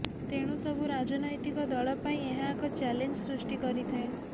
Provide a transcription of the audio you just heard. ତେଣୁ ସବୁ ରାଜନୈତିକ ଦଳପାଇଁ ଏହା ଏକ ଚ୍ୟାଲେଞ୍ଜ ସୃଷ୍ଟି କରିଥାଏ